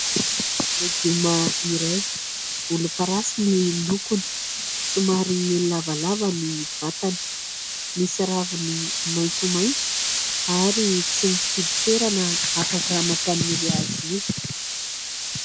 Legioma iray volomparasy ny lokony, somary lavalava ny vatany, misy raviny maitsomaitso ary tsy mifidy toerana afaka mampaniry azy io.